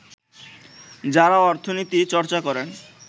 যাঁরা অর্থনীতি চর্চা করেন